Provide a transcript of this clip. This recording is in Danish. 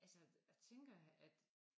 Altså jeg tænker at